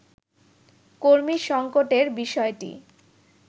কর্মী সংকটের বিষয়টি